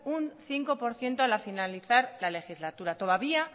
un cinco por ciento al finalizar la legislatura todavía